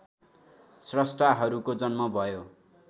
स्रस्टाहरूको जन्म भयो